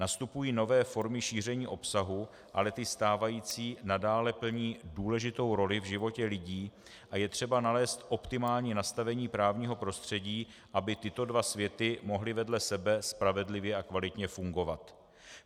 Nastupují nové formy šíření obsahu, ale ty stávající nadále plní důležitou roli v životě lidí a je třeba nalézt optimální nastavení právního prostředí, aby tyto dva světy mohly vedle sebe spravedlivě a kvalitně fungovat.